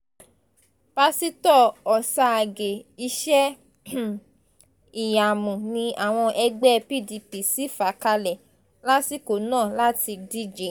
pásítọ̀ ọ̀sàgìẹ̀ iṣẹ́-ìyamù ni àwọn ẹgbẹ́ pdp sì fà kalẹ̀ lásìkò náà láti díje